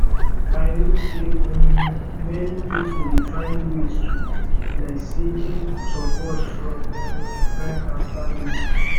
i know say um many people dey find ways to cope like seeking support from um friends and family